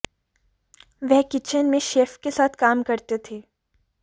वह किचन में शेफ के साथ काम करते थे